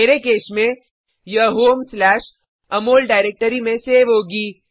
मेरे केस में यह homeअमोल डाइरेक्टरी में सेव होगी